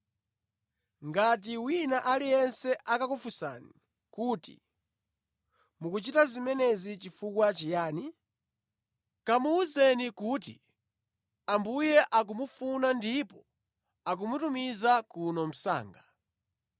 Ngati wina aliyense akakufunsani kuti, ‘Mukuchita zimenezi chifukwa chiyani?’ Kamuwuzeni kuti, ‘Ambuye akumufuna ndipo akamutumiza kuno msanga.’ ”